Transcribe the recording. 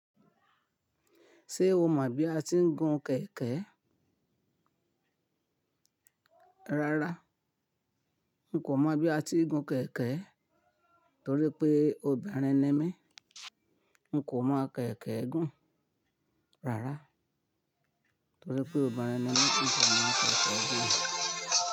Ṣé o mọ̀ bí a tiń gun kẹ̀kẹ́? Rárá, n kò mọ̀ bí a ti ń gun kẹ̀kẹ́ torí pé obìnrin ni mí. N kò mọ̀ kẹ̀kẹ́ gún. Rárá, torí pé obìnrin ni mí, n kò mọ̀ kẹ̀kẹ́ gún.